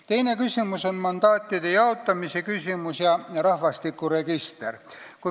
Teine küsimus on mandaatide jaotamine ja rahvastikuregister.